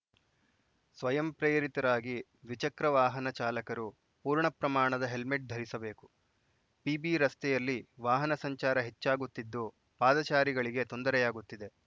ಸ್ವಯಂ ಪ್ರೇರಿತರಾಗಿ ದ್ವಿಚಕ್ರ ವಾಹನ ಚಾಲಕರು ಪೂರ್ಣ ಪ್ರಮಾಣದ ಹೆಲ್ಮೆಟ್‌ ಧರಿಸಬೇಕು ಪಿಬಿ ರಸ್ತೆಯಲ್ಲಿ ವಾಹನ ಸಂಚಾರ ಹೆಚ್ಚಾಗುತ್ತಿದ್ದು ಪಾದಚಾರಿಗಳಿಗೆ ತೊಂದರೆಯಾಗುತ್ತಿದೆ